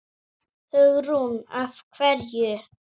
Hugrún: Af hverju?